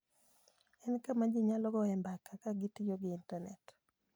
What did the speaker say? En kama ji nyalo goyoe mbaka ka gitiyo gi Intanet.